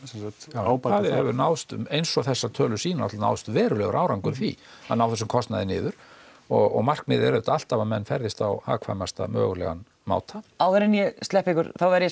ábati hefur náðst eins og þessar tölur sýna náðst verulegur árangur í því að ná þessum kostnaði niður og markmiðið er auðvitað alltaf að menn ferðist á hagkvæmastan mögulegan máta áður en ég sleppi ykkur þá verð ég